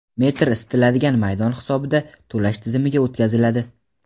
metr isitiladigan maydon hisobida to‘lash tizimiga o‘tkaziladi.